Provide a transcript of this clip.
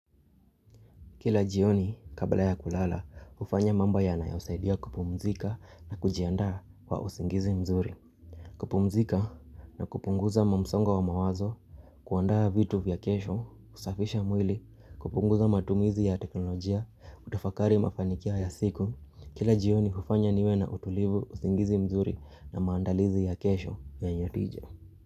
Kila jioni kabla ya kulala, hufanya mambi yanayosaidia kupumzika na kujiandaa kwa usingizi mzuri. Kupumzika na kupunguza mamsongo wa mawazo, kuandaa vitu vya kesho, kusafisha mwili, kupunguza matumizi ya teknolojia, kutafakari mafanikio ya siku. Kila jioni hufanya niwe na utulivu, usingizi mzuri na maandalizi ya kesho ya nyotije.